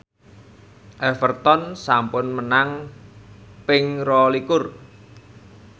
Everton sampun menang ping rolikur